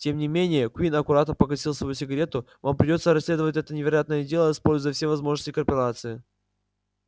тем не менее куинн аккуратно погасил свою сигарету вам придётся расследовать это невероятное дело используя все возможности корпорации